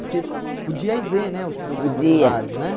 Porque podia ir ver né os programas podia do rádio, né?